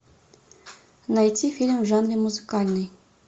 найти фильм в жанре музыкальный